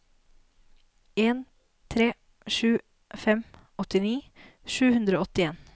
en tre sju fem åttini sju hundre og åttien